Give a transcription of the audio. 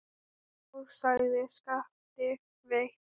Já, sagði Skapti veikt.